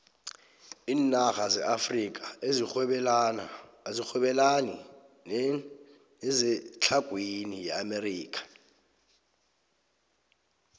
iinarha zeafrika azirhwebelani nezetlhagwini yeamerika